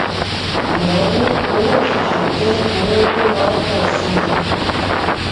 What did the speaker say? ìnáwó owó òṣìṣẹ jẹ owó tó máa ń pọ síi